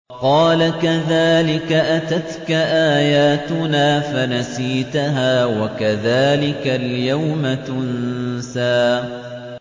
قَالَ كَذَٰلِكَ أَتَتْكَ آيَاتُنَا فَنَسِيتَهَا ۖ وَكَذَٰلِكَ الْيَوْمَ تُنسَىٰ